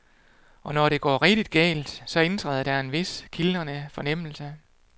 Og når det går rigtig galt, så indtræder der en vis, kildrende fornemmelse.